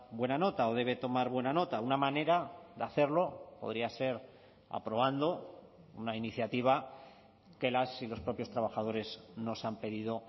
buena nota o debe tomar buena nota una manera de hacerlo podría ser aprobando una iniciativa que las y los propios trabajadores nos han pedido